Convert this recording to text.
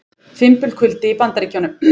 Fimbulkuldi í Bandaríkjunum